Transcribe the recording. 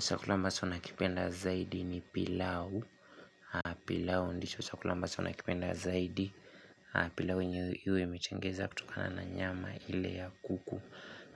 Chakula ambacho nanikipenda zaidi ni pilau. Pilau ndicho chakula ambacho nakipenda zaidi. Pilau yenye iwe imetengeneza kutokana na nyama ile ya kuku.